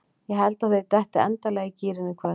Ég held að þeir detti endanlega í gírinn í kvöld.